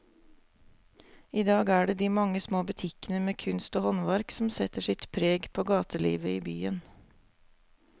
I dag er det de mange små butikkene med kunst og håndverk som setter sitt preg på gatelivet i byen.